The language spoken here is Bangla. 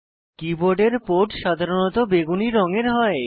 কীবোর্ডের পোর্ট সাধারণত বেগুনী রঙের হয়